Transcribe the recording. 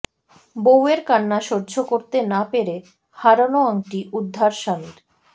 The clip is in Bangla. বৌয়ের কান্না সহ্য করতে না পেরে হারানো আংটি উদ্ধার স্বামীর